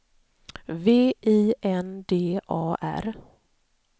V I N D A R